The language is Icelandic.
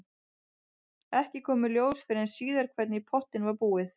Ekki kom í ljós fyrr en síðar hvernig í pottinn var búið.